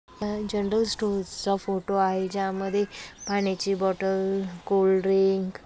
हा general store चा photo आहे ज्यामध्ये पाण्याची बॉटल कोल्ड्रिंक --